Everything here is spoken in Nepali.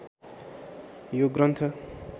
यो ग्रन्थ